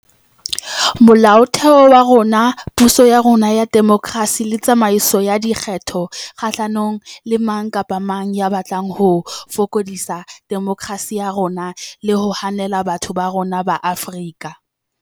Mola otheo wa rona, puso ya rona ya demokerasi le tsamaiso ya dikgetho kgahlanong le mang kapa mang ya batlang ho fokodisa demokerasi ya rona le ho hanela batho ba rona ba Afrika.